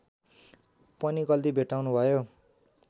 पनि गल्ती भेट्टाउनुभयो